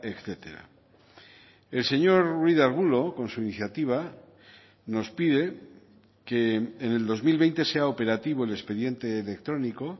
etcétera el señor ruiz de arbulo con su iniciativa nos pide que en el dos mil veinte sea operativo el expediente electrónico